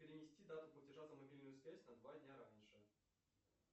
перенести дату платежа за мобильную связь на два дня раньше